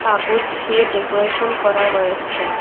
কাগজ দিয়ে ডেকোরেশন করা রয়েছে।